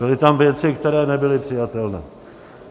Byly tam věci, které nebyly přijatelné.